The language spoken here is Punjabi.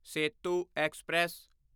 ਸੇਤੂ ਐਕਸਪ੍ਰੈਸ